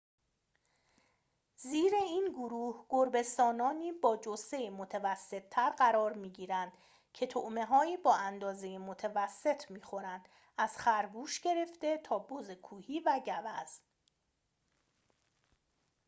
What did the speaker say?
زیر این گروه گربه‌سانانی با جثه متوسط‌تر قرار می‌گیرند که طعمه‌‌هایی با اندازه متوسط می‌خورند از خرگوش گرفته تا بز کوهی و گوزن